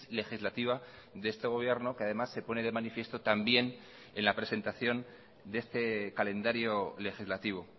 legislativa de este gobierno que además se pone de manifiesto también en la presentación de este calendario legislativo